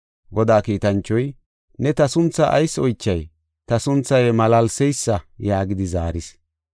Godaa kiitanchoy, “Ne ta sunthaa ayis oychay? Ta sunthay malaalseysa” yaagidi zaaris.